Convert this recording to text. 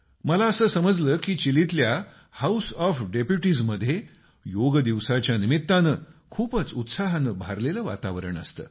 मला असं समजलं की चिलीतल्या हाऊस ऑफ डेप्युटीजमध्ये योग दिवसाच्या निमित्तानं खूपच उत्साहानं भारलेलं वातावरण असतं